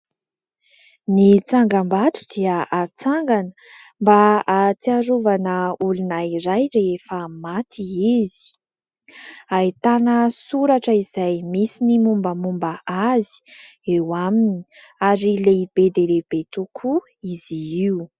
Ny tsangambato dia hatsangana mba hatsiarovana olona iray rehefa maty izy. Ahitana soratra izay misy ny momba momba azy eo aminy, ary lehibe dia lehibe tokoa izy io.